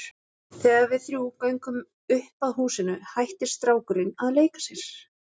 Þegar við þrjú göngum upp að húsinu hættir strákurinn að leika sér.